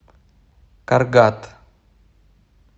каргат